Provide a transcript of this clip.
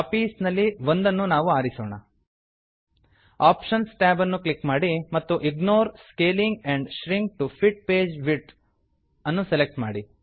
options options ಟ್ಯಾಬನ್ನು click ಮಾಡಿ ಮತ್ತು ignore scaling and shrink to fit page width ignore scaling and shrink to fit page width ಅನ್ನು select ಮಾಡಿ